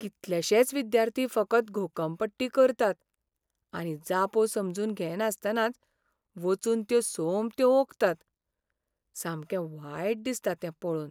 कितलेशेच विद्यार्थी फकत घोकंपट्टी करतात आनी जापो समजून घेनासतनाच वचून त्यो सोमत्यो ओंकतात. सामकें वायट दिसता तें पळोवन.